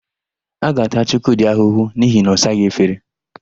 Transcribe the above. A ga-ata Chukwudị ahụhụ n'ihi na ọ saghị efere.